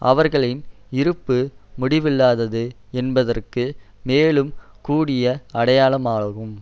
அவர்களின் இருப்பு முடிவில்லாதது என்பதற்கு மேலும் கூடிய அடையாளமாகும்